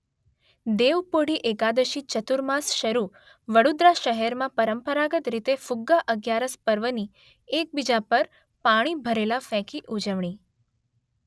દેવપોઢી એકાદશી ચતુર્માસ શરૂ વડોદરા શહેરમાં પરંપરાગત રીતે ફુગ્ગા અગિયારસ પર્વની એકબીજા પર પાણી ભરેલા ફેંકી ઉજવણી.